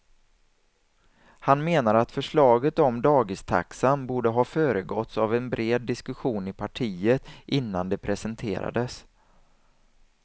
Han menar att förslaget om dagistaxan borde ha föregåtts av en bred diskussion i partiet innan det presenterades.